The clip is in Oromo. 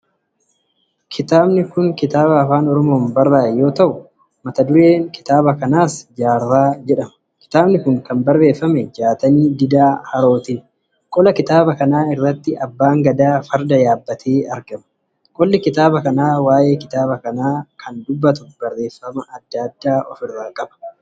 Kun kitaaba Afaan Oromoon barraa'e yoo ta'u, kitaabi kun maqaan 'Jaarraa' jedhama. Kitaabi kun kan barreeffame Jaatanii Diida Harootini. Qola kitaaba kanaa irratti Abbaan Gadaa farda yaabbatee argama. Qolli kitaaba kana waa'ee kitaaba kanaa kan dubbatu barreeffama adda addaa qaba.